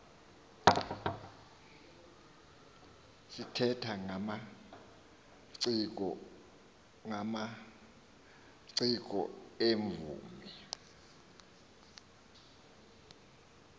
sithetha ngamaciko iimvumi